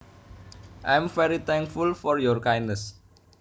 I am very thankful for your kindness